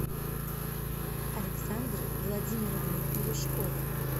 александры владимировны глушковой